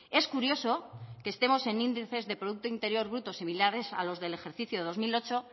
es curioso que estemos en índices de producto interior bruto similares a los del ejercicio dos mil ocho